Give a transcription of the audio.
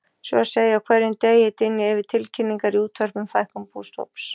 Svo að segja á hverjum degi dynja yfir tilkynningar í útvarpi um fækkun bústofns.